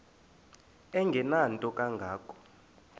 engenanto kanga ko